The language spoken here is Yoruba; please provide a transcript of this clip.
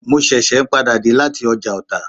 Mo ṣẹ̀ṣẹ̀ n padà dé lati ọjà ọta